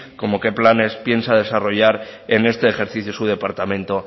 como qué planes piensa desarrollar en este ejercicio su departamento